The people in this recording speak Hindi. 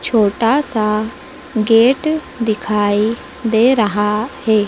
छोटा सा गेट दिखाई दे रहा है।